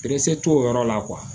t'o yɔrɔ la